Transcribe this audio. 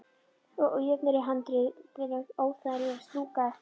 Og ójöfnurnar í handriðinu óþægilegar að strjúka eftir.